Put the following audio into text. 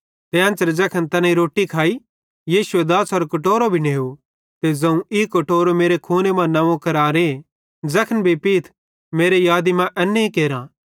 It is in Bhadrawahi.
ते एन्च़रे ज़ैखन तैनेईं रोट्टी खाइ यीशुए दाछ़रो कटोरो भी नेव ते ज़ोवं ई कटोरो मेरे खूने मां नंव्वो करारे ज़ैखन भी पीथ मेरे यादी मां इन्ने केरा